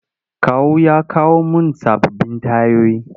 Kawu ya kawo mun sababbin tayoyi.